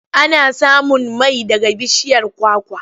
Ana samun mai daga bishiyar kwakwa.